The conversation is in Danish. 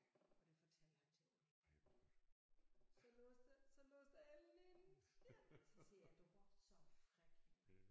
Og det fortalte han til alle så låste så låste alle inde siger han så siger jeg du var så fræk